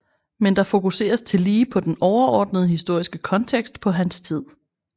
Men der fokuseres tillige på den overordnede historiske kontekst på hans tid